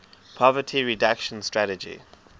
poverty reduction strategy